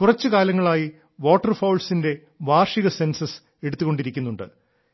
കുറച്ചു കാലങ്ങളായി വാട്ടർഫൌൾസിന്റെ വാർഷിക സെൻസസ് എടുത്തുകൊണ്ടിരിക്കുന്നുണ്ട്